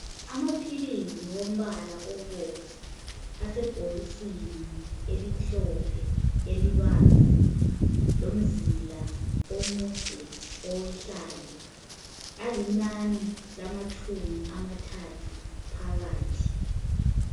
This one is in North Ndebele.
Amaphilizi ombala obomvu asebhokisini elimhlophe elibanzi lomzila omude owehlayo alinani lamatshumi amathathu phakathi.